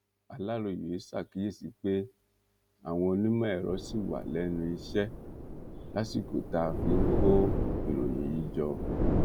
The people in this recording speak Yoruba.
aláròye ṣàkíyèsí pé àwọn onímọẹrọ ṣì wà lẹnu iṣẹ lásìkò tá a fi ń kó ìròyìn yìí jọ